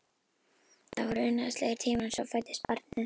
Það voru unaðslegir tímar en svo fæddist barnið.